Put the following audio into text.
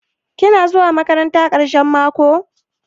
Kina zuwa maƙaranta ƙarahen maƙo?